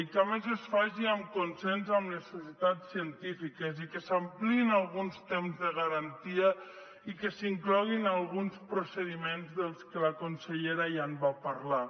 i que a més es faci en consens amb les societats científiques i que s’ampliïn alguns temps de garantia i que s’incloguin alguns procediments dels que la consellera ja va parlar